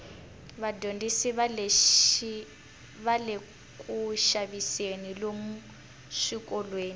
vadyondzi vale kuxaviseni lomu swikolweni